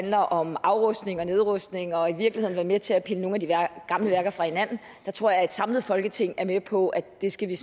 handler om afrustning og nedrustning og i virkeligheden at være med til at pille nogle af de gamle værker fra hinanden der tror jeg at et samlet folketing er med på at det skal vi